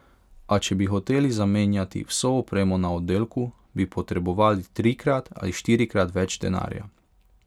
A če bi hoteli zamenjati vso opremo na oddelku, bi potrebovali trikrat ali štirikrat več denarja.